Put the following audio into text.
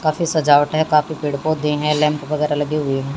काफी सजावटे काफी पेड़ पौधे हैं लैंप वगैरा लगी हुई है।